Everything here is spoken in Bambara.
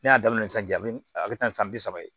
Ne y'a daminɛ sisan a bɛ a bɛ taa ni san bi saba ye